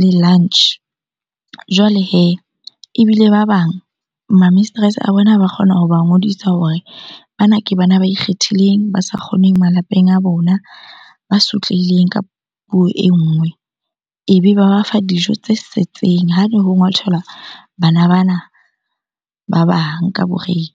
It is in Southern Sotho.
le lunch. Jwale hee ebile ba bang ma mistress-e a bona ba kgona hoba ngodisa hore bana ke bana ba ikgethileng, ba sa kgoneng malapeng a bona, ba sotlehileng ka puo e nngwe. Ebe ba ba fa dijo tse setseng ha ne ho ngwathelwa bana bana ba bang ka break-e.